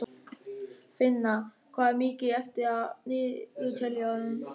Finna, hvað er mikið eftir af niðurteljaranum?